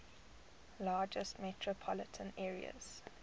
largest metropolitan areas